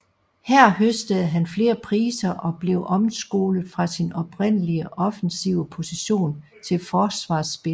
Her høstede han flere priser og blev omskolet fra sin oprindelige offensive position til forsvarsspiller